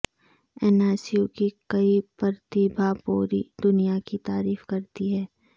انا سیو کی کئی پرتیبھا پوری دنیا کی تعریف کرتی ہیں